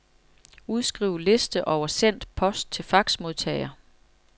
Udskriv liste over sendt post til faxmodtager.